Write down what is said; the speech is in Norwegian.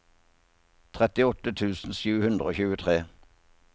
trettiåtte tusen sju hundre og tjuetre